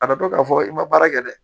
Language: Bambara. A na don k'a fɔ i ma baara kɛ dɛ